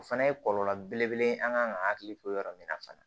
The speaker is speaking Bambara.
O fana ye kɔlɔlɔ belebele ye an kan ka hakili to yɔrɔ min na fana